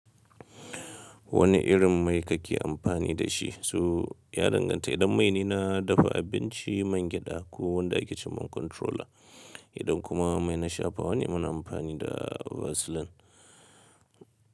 Wane irin mai kake amfani da shi? So ya danganta idan mai ne na dafa abinci mangyaɗa ko wanda yake cikin controller. Idan kuma mai na shafa, wane mana amfani da vaseline.